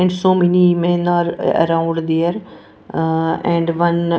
And so many men are around there ah and one.